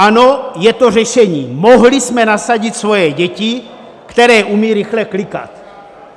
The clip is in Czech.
Ano, je to řešení: mohli jsme nasadit svoje děti, které umějí rychle klikat.